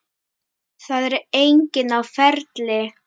Það er enginn á ferli.